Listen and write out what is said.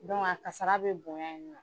a kasara bɛ bonya